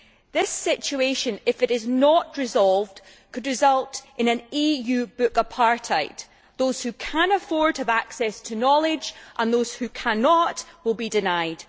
This situation, if it is not resolved, could result in EU wide book apartheid those who can afford to will have access to knowledge, and those who cannot will be denied.